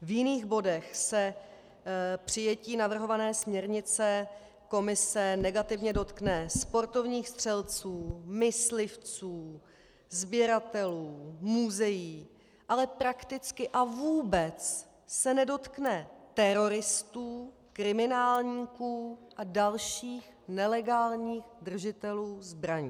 V jiných bodech se přijetí navrhované směrnice Komise negativně dotkne sportovních střelců, myslivců, sběratelů, muzeí, ale prakticky a vůbec se nedotkne teroristů, kriminálníků a dalších nelegálních držitelů zbraní.